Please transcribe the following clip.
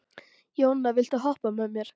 Jóna, viltu hoppa með mér?